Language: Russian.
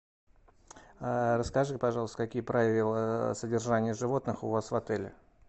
а расскажи пожалуйста какие правила содержания животных у вас в отеле